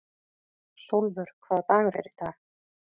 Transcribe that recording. Sólvör, hvaða dagur er í dag?